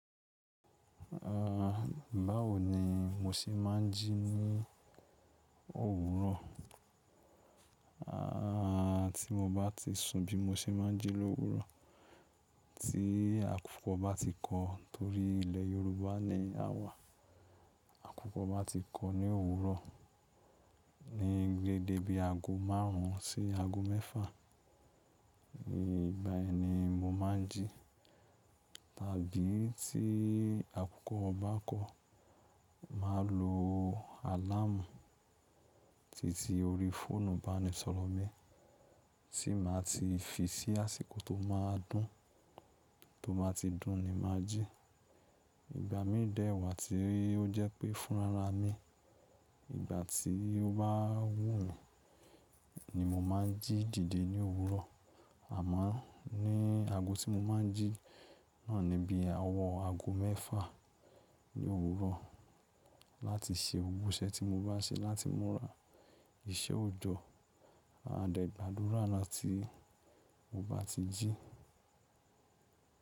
Uh, báwo ni mo ṣe máa ń jí ní òwúrọ̀? A, tí mo bá ti sun bí mo ṣe máa ń jí l’òwúrọ̀. Tí àkukò bá ti kọ, torí ilẹ̀ Yorùbá ni a wà. Àkukò bá ti kọ ní òwúrọ̀, ní deéde bi ago márùn ún sí ago mẹ́fà. Ní ìgbà yen ni mo máa ń jí. Tàbí tí àkukò o bá kọ, màá lo àlámù titi orí fóònù baníṣọọ̀rọ̀ mi tí màá ti fi sí àsìkò tó máa dún, tó bá ti dún ni màá jí. Ìgbà mí dẹ̀wà tí ó jẹ́ pé fún rara mi, ìgbà tí ó bá wúmi ni mo máa ń jí dìde ní òwúrọ̀. Àmọ́ ní ago tí mo máa ń jí náà ni bí owọ ago mẹ́fà ní òwúrọ̀ láti ṣe gbo iṣe tí mo bá ṣe láti múra. Ìṣe ò jọ, a dẹ̀ gbàdúrà gbáti mo bá ti jí.